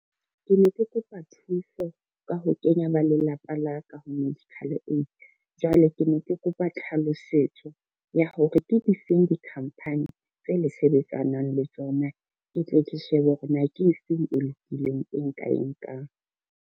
Ke ne ke kopa thuso ka ho kenya ba lelapa la ka ho medical aid. Jwale ke ne ke kopa tlhalosetso ya hore ke difeng dikhampani tse le sebetsanang le tsona, ke tle ke shebe hore na ke efeng e lokileng e nka e nkang.